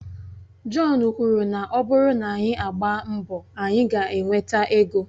John kwuru na ọ bụrụ na anyị agbaa mbọ, anyị ga-enweta ego